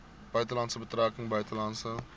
buitelandse betrekkinge buitelandse